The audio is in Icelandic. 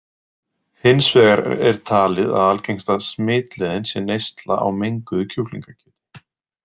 Hins vegar er talið að algengasta smitleiðin sé neysla á menguðu kjúklingakjöti.